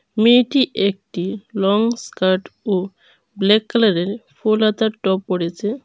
মেয়েটি একটি long skirt ও ব্ল্যাক কালারের ফুল হাতা টপ পরেছে।